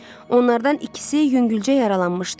Onlardan ikisi yüngülcə yaralanmışdı.